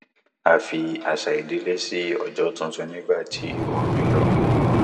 a fi àṣà ìdílé ṣí ọjọ tuntun nígbà tí oòrùn yọ